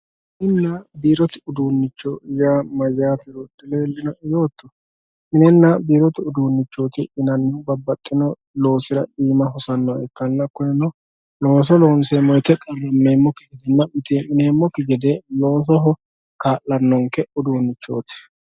mininna biirote uduunnicho yaa mayyaatero dileellinoe yootto. mininna biirote uduunnichooti yinannihu babbaxxino loosira iima hosannoha ikkanna looso loonseemmo woyte qarrammeemmokki gedenna mitii'mineemmokki gede loosoho kaa'lanonke uduunnichooti